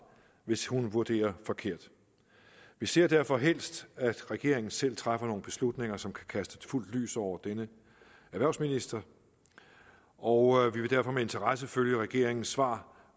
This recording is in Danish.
hvis hun vurderer forkert vi ser derfor helst at regeringen selv træffer nogle beslutninger som kan kaste fuldt lys over denne erhvervsminister og vi vil derfor med interesse følge regeringens svar